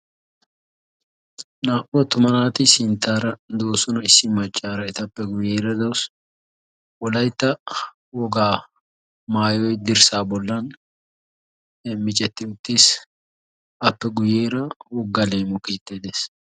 Naa"u attuma naati sinttaara doosona. Issi maccaara etappe guyeera dawusu wolaytta wogaa maayoyi dirssaa bollan miccetti uttiis appe guyeera woga leemo keettay de'ees.